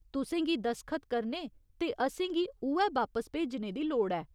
तुसें गी दसखत करने ते असेंगी उ'ऐ बापस भेजने दी लोड़ ऐ।